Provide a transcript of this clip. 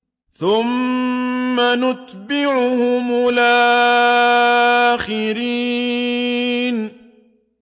ثُمَّ نُتْبِعُهُمُ الْآخِرِينَ